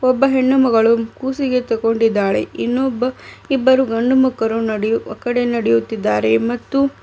ಒಬ್ಬ ಹೆಣ್ಣು ಮಗಳು ಕೂಸಿಗೆ ತಗೊಂಡಿದ್ದಾಳೆ ಇನ್ನೊಬ್ಬ ಇಬ್ಬರು ಗಂಡು ಮಕ್ಕಳು ನಡೆಯು ಆ ಕಡೆ ನಡೆಯುತ್ತಿದ್ದಾರೆ.